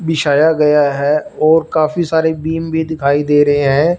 बिछाया गया है और काफी सारे बीम भी दिखाई दे रहे हैं।